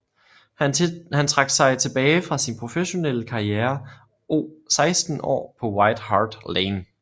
Han trak sig tilbage fra sin professionelle karriere o 16 år på White Hart Lane